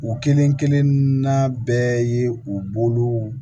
U kelen kelen n'a bɛɛ ye u bolow